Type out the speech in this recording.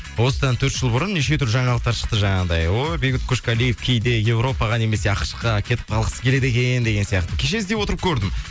осыдан төрт жыл бұрын неше түрлі жаңалықтар шықты жаңағыдай ой бейбіт қошқалиев кейде европаға немесе ақш қа кетіп қалғысы келеді екен деген сияқты кеше іздеп отырып көрдім